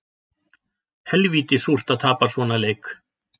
Helvíti súrt að tapa svona leik